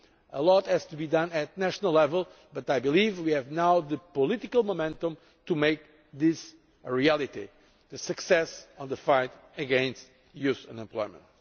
Much has to be done at national level but we have now the political momentum to make this a reality the success of the fight against youth unemployment.